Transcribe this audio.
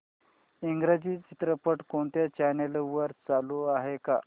इंग्रजी चित्रपट कोणत्या चॅनल वर चालू आहे का